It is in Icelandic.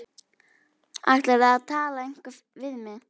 Ætlarðu að tala eitthvað við mig?